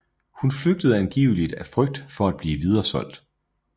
Hun flygtede angiveligt af frygt for at blive videresolgt